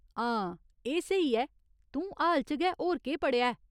हां, एह् स्हेई ऐ, तूं हाल च गै होर केह् पढ़ेआ ऐ?